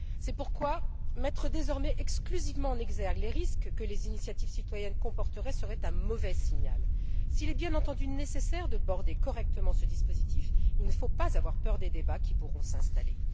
C'est pourquoi le fait de mettre exclusivement en exergue les risques que les initiatives citoyennes comporteraient serait un mauvais signal. S'il est bien entendu nécessaire de border correctement ce dispositif, il ne faut pas avoir peur des débats qui pourront s'installer.